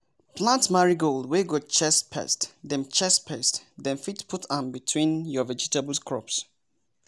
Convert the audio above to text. plant marigold wey go chase pest dem chase pest dem fit put am between your vegetable crops!